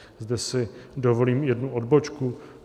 Zde si dovolím jednu odbočku.